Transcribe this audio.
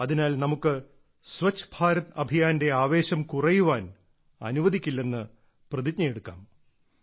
അതിനാൽ നമുക്ക് സ്വച്ഛ് ഭാരത് അഭിയാന്റെ ആവേശം കുറയാൻ അനുവദിക്കില്ലെന്ന് പ്രതിജ്ഞയെടുക്കാം